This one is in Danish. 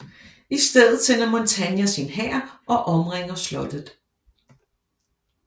I stedet sender Montania sin hær og omringer slottet